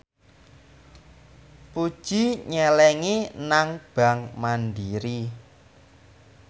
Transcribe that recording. Puji nyelengi nang bank mandiri